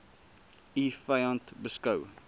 u vyand beskou